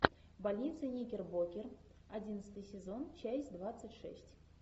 больница никербокер одиннадцатый сезон часть двадцать шесть